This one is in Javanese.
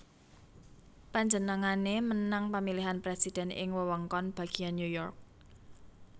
Panjenengané menang pamilihan presiden ing wewengkon bagian New York